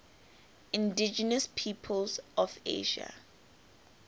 indigenous peoples of asia